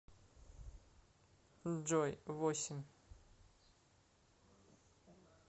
джой восемь